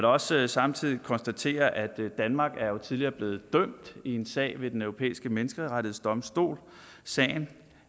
også samtidig konstatere at danmark jo tidligere er blevet dømt i en sag ved den europæiske menneskerettighedsdomstol sagen